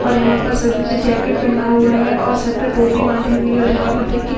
और यहां पर सभी ने जैकेट पहना हुआ है और सर पे टोपी बांधी हुई है और यहां पर देखो --